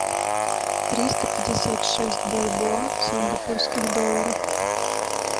триста пятьдесят шесть бальбоа в сингапурских долларах